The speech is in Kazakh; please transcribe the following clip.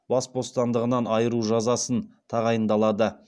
бас бостандығынан айыру жазасын тағайындалады